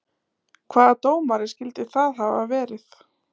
Hvaða dómari skyldi það hafa verið?